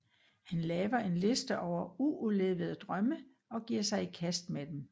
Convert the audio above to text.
Han laver en liste over uudlevede drømme og giver sig i kast med dem